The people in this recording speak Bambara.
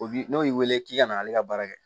O bi n'o y'i wele k'i ka na ale ka baara kɛ